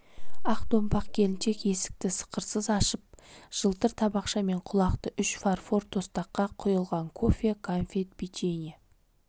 ақ томпақ келіншек есікті сықырсыз ашып жылтыр табақшамен құлақты үш фарфор тостаққа құйылған кофе кәмпит печенье